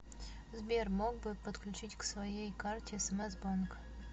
сбер мог бы подключить к своей карте смс банк